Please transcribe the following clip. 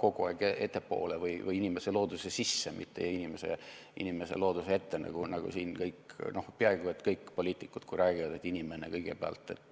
kogu aeg ettepoole või inimese looduse sisse, mitte inimese looduse ette, nagu peaaegu kõik poliitikud räägivad, et inimene kõigepealt.